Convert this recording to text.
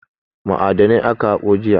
Ma'adanai aka haƙo jiya.